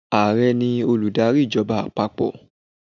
Ààrẹ ni olùdarí ìjọba àpapọ̀.